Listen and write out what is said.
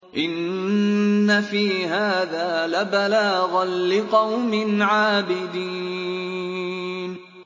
إِنَّ فِي هَٰذَا لَبَلَاغًا لِّقَوْمٍ عَابِدِينَ